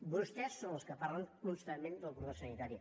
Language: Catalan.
vostès són els que parlen constantment del cordó sanitari